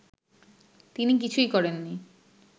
তিনি কিছুই করেননি